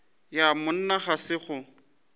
ja monna ga se go